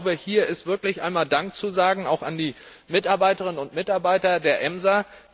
Aber ich glaube, hier ist wirklich einmal Dank zu sagen, auch an die Mitarbeiterinnen und Mitarbeiter der EMSA.